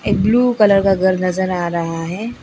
Blue colour का घर नजर आ रहा है।